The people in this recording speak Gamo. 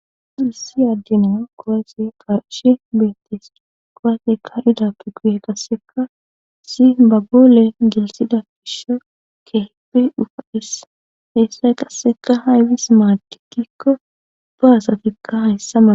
Asu hissi addenia kowaysi qashi beettis cugowate ka ida pi quuye qasseka si bagoole gilsida fisho kehipi dhufa dhis heessay qasseka haybis maadikkikko baasafikka hayssa mana.